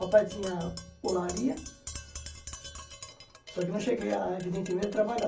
Papai tinha holaria, só que eu não cheguei, evidentemente, a trabalhar.